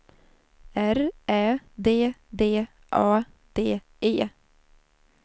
R Ä D D A D E